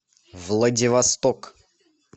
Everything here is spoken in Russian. владивосток